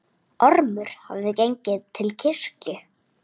Ormur hafði gengið til kirkju.